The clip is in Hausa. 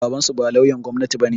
Babansu ba lauyan gwamnati bane